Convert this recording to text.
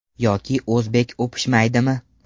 Yoki o‘zbek o‘pishmaydimi?